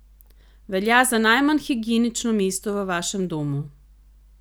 Velja za najmanj higienično mesto v vašem domu.